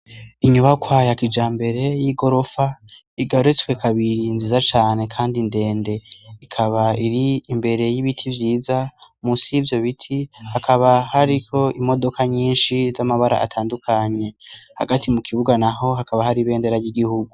Inyubakwayakija mbere y'i gorofa igarutswe kabiri nziza cane, kandi indende ikaba iri imbere y'ibiti vyiza musi y'ivyo biti hakaba hariko imodoka nyinshi z'amabara atandukanye hagati mu kibuga na ho hakaba hari ibendera y'igihugu.